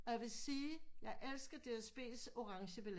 Og jeg vil sige jeg elsker DSB's orangebilletter